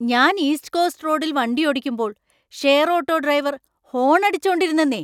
ഞാൻ east coast റോഡിൽ വണ്ടിയോടിക്കുമ്പോൾ ഷെയർ ഓട്ടോ ഡ്രൈവര്‍ ഹോൺ അടിച്ചോണ്ടിരുന്നെന്നേ.